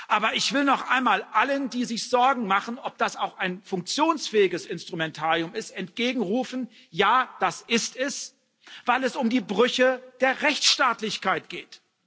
Aber ich will noch einmal allen, die sich Sorgen machen, ob das auch ein funktionsfähiges Instrumentarium ist, entgegenrufen Ja, das ist es, weil es um die Brüche der Rechtsstaatlichkeit geht.